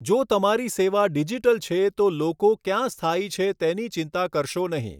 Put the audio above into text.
જો તમારી સેવા ડિજિટલ છે, તો લોકો ક્યાં સ્થાયી છે તેની ચિંતા કરશો નહીં.